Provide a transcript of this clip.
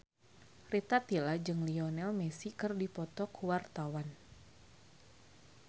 Rita Tila jeung Lionel Messi keur dipoto ku wartawan